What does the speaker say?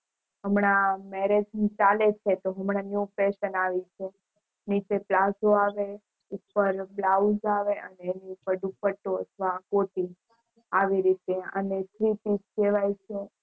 હમણાં Marriage ચાલે તો હમણાં New Fashion આવી છે નીચે પ્લાઝો આવે ઉપર Blouse આવે અને એની ઉપર ડુપતો અથવા કોટી આવી રીતે અને